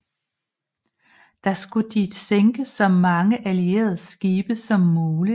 Der skulle de sænke så mange allierede skibe som muligt